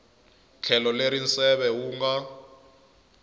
tlhelo leri nseve wu nga